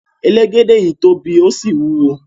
Elegede yii tobi o si wuwo